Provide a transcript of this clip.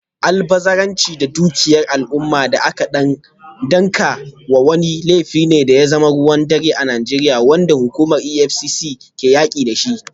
Almubazzaranci da dukiyar al’umma da aka danka wa wani, laifi ne da ya zama ruwan dare a Najeriya, wanda hukumar EFCC ke yaki da shi.